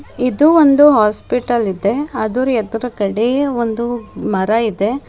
ಇದು ಒಂದು ಹಾಸ್ಪಿಟಲ್ ಇದೆ ಅದರ ಎದುರುಗಡೆ ಒಂದು ಮರ ಇದೆ.